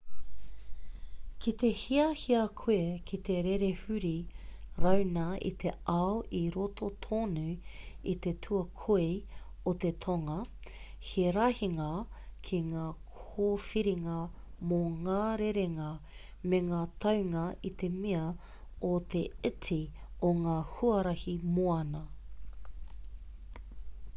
kite hiahia koe ki te rere huri rauna i te ao i roto tonu i te tuakoi o te tonga he rahinga ki ngā kōwhiringa mō ngā rerenga me ngā taunga i te mea o te iti o ngā huarahi moana